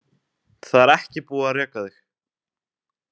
Það er ekki búið að reka þig.